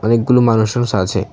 অনেকগুলো মানুষ টানুস আছে।